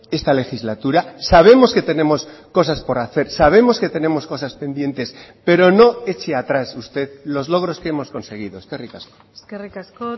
esta legislatura sabemos que tenemos cosas por hacer sabemos que tenemos cosas pendientes pero no eche atrás usted los logros que hemos conseguido eskerrik asko eskerrik asko